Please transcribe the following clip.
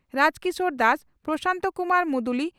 Rajkishore Das Prosanto Kumar Muduli